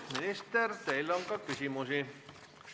Minister, teile on ka küsimusi.